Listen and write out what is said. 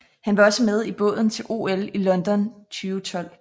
Han var også med i båden til OL i London 2012